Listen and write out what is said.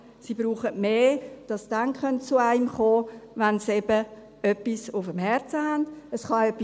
Sie brauchen mehr, damit sie zu einem kommen können, wenn sie etwas auf dem Herzen haben.